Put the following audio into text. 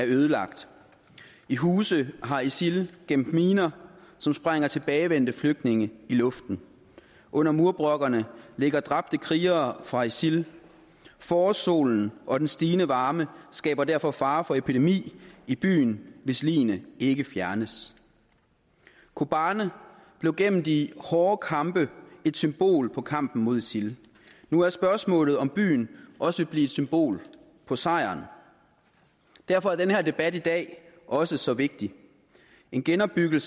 ødelagt i huse har isil gemt miner som sprænger tilbagevendte flygtninge i luften under murbrokkerne ligger dræbte krigere fra isil forårssolen og den stigende varme skaber derfor fare for epidemi i byen hvis ligene ikke fjernes kobani blev igennem de hårde kampe et symbol på kampen mod isil nu er spørgsmålet om byen også vil blive et symbol på sejren derfor er den her debat i dag også så vigtig en genopbygning